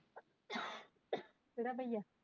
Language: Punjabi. ਕਿਹੜਾ ਬਹਿਆ